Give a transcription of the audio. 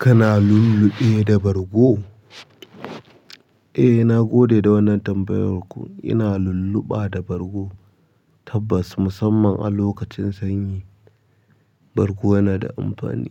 Kana lulluɓe da bargo? Eh nagode da wannan tambayar ko ina lulluɓa da bargo tabbas musamman a lokacin sanyi. Bargo yana da amfani,